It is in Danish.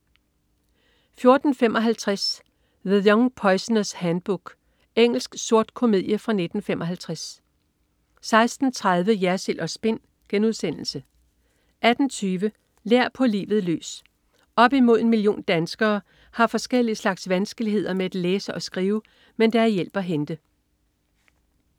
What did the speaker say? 14.55 The Young Poisoner's Handbook. Engelsk sort komedie fra 1995 16.30 Jersild & Spin* 18.20 Lær på livet løs. Op mod en million danskere har forskellige slags vanskeligheder med at læse og skrive. Men der er hjælp at hente